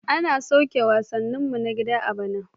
An soke wasanninmu na gida a bana.